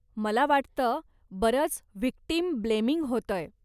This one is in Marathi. मला वाटतं बरंच व्हिक्टिम ब्लेमिंग होतंय.